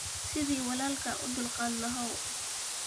Sidhi walalka uudulkad laxaw.